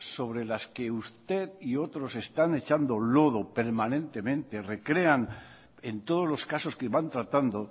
sobre las que usted y otros están echando lodo permanentemente recrean en todos los casos que van tratando